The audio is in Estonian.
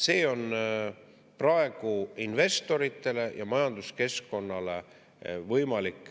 See on praegu investoritele ja majanduskeskkonnale võimalik …